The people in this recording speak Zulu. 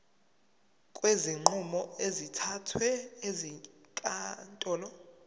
kwezinqumo ezithathwe ezinkantolo